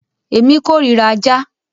Èmi kórira ajá.